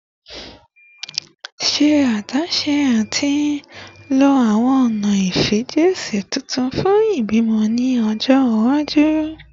Ṣe adaṣe ati lo awọn ọna ifijiṣẹ tuntun fun ibimọ ni ọjọ iwaju